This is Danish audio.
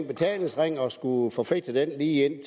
betalingsringen og skulle forfægte den lige